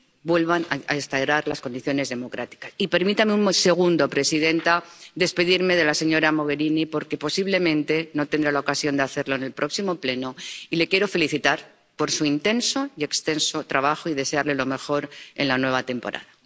vuelvan a restaurar las condiciones democráticas. Y permítame un segundo, presidenta, despedirme de la señora Mogherini, porque posiblemente no tendré la ocasión de hacerlo en el próximo Pleno, y la quiero felicitar por su intenso y extenso trabajo y desearle lo mejor en la nueva temporada.